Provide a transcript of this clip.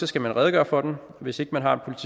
skal man redegøre for den og hvis ikke man har